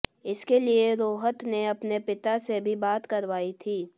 इसके लिए रोहत ने अपने पिता से भी बात करवाई थी